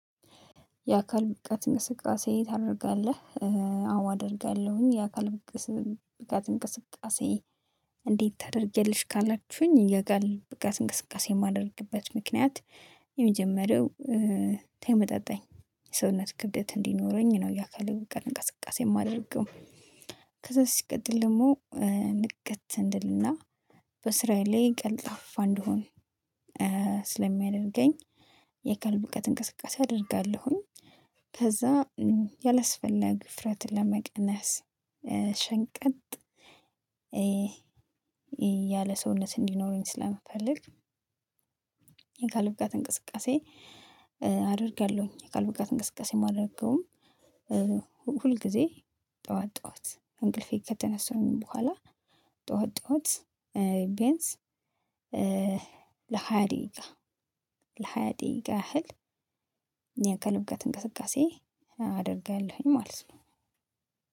የአካል ብቃት እንቅስቃሴ ታደርጋለህ? አዎ አደርጋለሁኝ የአካል ብቃት እንቅስቃሴ? እንዴት ታደርጊያለሽ ካላችሁኝ የአካል ብቃት እንቅስቃሴ የማደርግበት ምክንያት። የመጀመሪያው ተመጣጣኝ ሰውነት ክብደት እንዲኖረኝ ነው የአካል እንቅስቃሴ የማደርገው። ከዛ ሲቀጥል ደግሞ ንቅት እንድልና በስራዬ ላይ ቀልጣፋ እንድሆን። ስለሚያደርገኝ የአካል ብቃት እንቅስቃሴ አደርጋለሁኝ። ከዛ ያላስፈላጊ ውፍረትን ለመቀነስ ሸንቀጥ ያለ ሰውነት እንዲኖረኝ ስለምፈልግ። የአካል ብቃት እንቅስቃሴ አደርጋለሁኝ። የአካል ብቃት እንቅስቃሴ የማደርገውም ሁል ጊዜ ጠዋት ጠዋት ከንቅልፌ ከተነሳሁኝ በኋላ ጠዋት ጠዋት ቤያንስ ለሃያ ደቂቃ ለሃያ ደቂቃ ያህል የአካል ብቃት እንቅስቃሴ አደርጋለሁኝ። ማለት ነው።